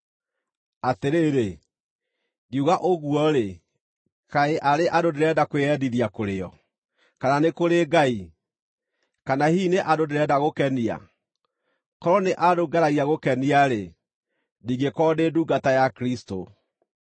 Atĩrĩrĩ, ngiuga ũguo-rĩ, kaĩ arĩ andũ ndĩrenda kwĩyendithia kũrĩ o, kana nĩ kũrĩ Ngai? Kana hihi nĩ andũ ndĩrenda gũkenia? Korwo nĩ andũ ngeragia gũkenia-rĩ, ndingĩkorwo ndĩ ndungata ya Kristũ.